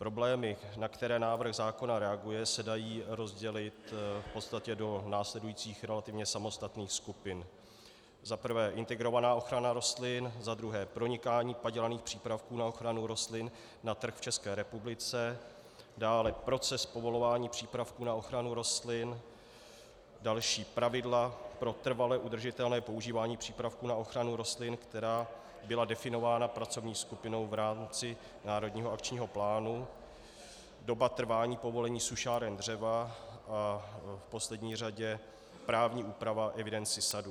Problémy, na které návrh zákona reaguje, se dají rozdělit v podstatě do následujících relativně samostatných skupin: za prvé integrovaná ochrana rostlin, za druhé pronikání padělaných přípravků na ochranu rostlin na trh v České republice, dále proces povolování přípravků na ochranu rostlin, další - pravidla pro trvale udržitelné používání přípravků na ochranu rostlin, která byla definována pracovní skupinou v rámci národního akčního plánu, doba trvání povolení sušáren dřeva a v poslední řadě právní úprava evidence sadů.